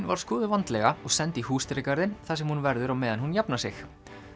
var skoðuð vandlega og send í húsdýragarðinn þar sem hún verður á meðan hún jafnar sig